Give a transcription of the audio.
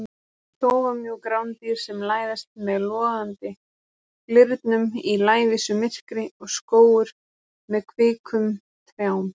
Þófamjúk rándýr sem læðast með logandi glyrnum í lævísu myrkri og skógur með kvikum trjám.